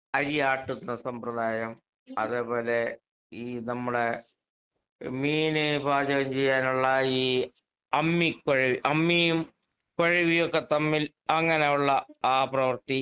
അരിയാട്ടുന്ന സമ്പ്രദായം. അതേപോലെ ഈ നമ്മുടെ എഹ് മീന് പാചകം ചെയ്യാനുള്ള ഈ അമ്മിക്കുഴ അമ്മിയും കൊഴവിയും ഒക്കെത്തമ്മിൽ അങ്ങനൊള്ള ആ പ്രവർത്തി